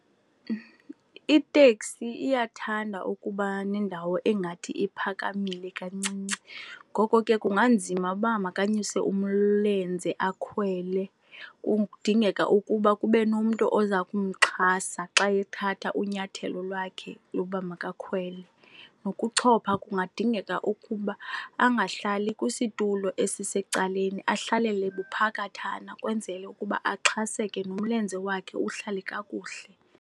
Iteksi iyathanda ukuba nendawo engathi iphakamile kancinci, ngoko ke kunganzima ukuba makanyuse umlenze akhwele. Kudingeka ukuba kube nomntu oza kumxhasa xa ethatha unyathelo lwakhe lokuba makakhwele. Nokuchopha kungadingeka ukuba angahlali kwisitulo esisecaleni ahlalele buphakathana kwenzele ukuba axhaseke, nomlenze wakhe uhlale kakuhle.